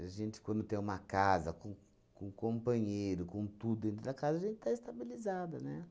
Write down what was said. A gente, quando tem uma casa com com companheiro, com tudo dentro da casa, a gente está estabilizada, né?